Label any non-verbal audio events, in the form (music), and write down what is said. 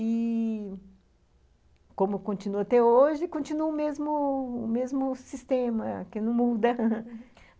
E... como continua até hoje, continua o mesmo o mesmo sistema, que não muda (laughs)